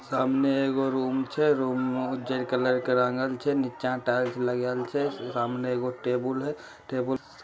सामने एगो रूम छे रूम उजर कलर के रंगल छे निछा टाइल्स लगल छे सामने एगो टेबुल हे टेबुल --